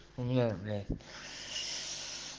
у меня блять